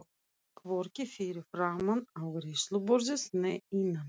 Hvorki fyrir framan afgreiðsluborðið né innan.